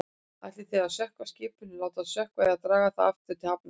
Ætlið þið að sökkva skipinu, láta það sökkva eða draga það aftur til hafnar?